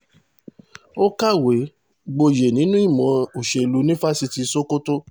ó kàwé gboyè nínú ìmọ̀ òṣèlú ní fásitì sokoto